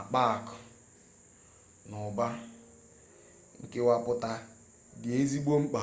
akpa aku n'uba nkewaputa di ezigbo mkpa